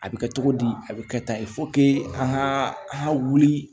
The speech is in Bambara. A bɛ kɛ cogo di a bɛ kɛ tan an ka an ka wuli